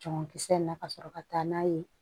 Cɔngɔnkisɛ in na ka sɔrɔ ka taa n'a ye